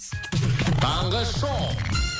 таңғы шоу